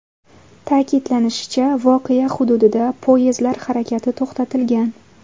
Ta’kidlanishicha, voqea hududida poyezdlar harakati to‘xtatilgan.